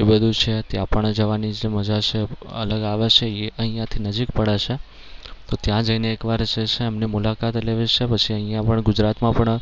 એ બધુ છે. ત્યાં પણ જવાની જે મજા છે અલગ આવે છે. એ અહિયાંથી નજીક પડે છે. ત્યાં જઈને એક વાર જે છે એમની મુલાકાત લેવી છે અને પછી અહિયાં જે છે અહિયાં ગુજરાતમાં પણ